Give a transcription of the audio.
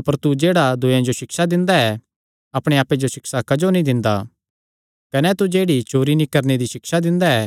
अपर तू जेह्ड़ा दूयेयां जो सिक्षा दिंदा ऐ अपणे आप्पे जो सिक्षा क्जो नीं दिंदा कने तू जेह्ड़ी चोरी नीं करणे दी सिक्षा दिंदा ऐ